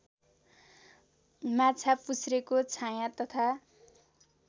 माछापुछ्रेको छायाँ तथा